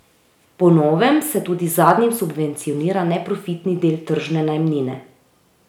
Po novem se tudi zadnjim subvencionira neprofitni del tržne najemnine.